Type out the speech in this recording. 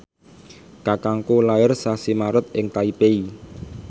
kakangku lair sasi Maret ing Taipei